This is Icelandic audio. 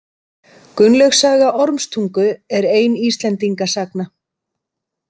Gunnlaugs saga ormstungu er ein Íslendingasagna.